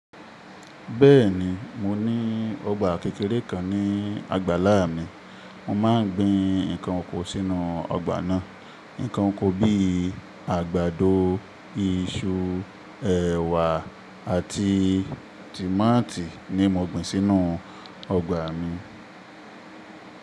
Bẹ́ẹ̀ni, mo ní ọgbà kékeré kan ní àgbàlá mi. Mo máa ń gbin ǹkan oko sínú ọgbà náà. Ǹǹkan oko bíi àgbàdo, iṣu, ẹ̀wà àti tòmátì ni mo gbin sínú ọgbà mi.